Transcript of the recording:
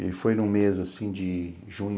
Ele foi num mês, assim, de junho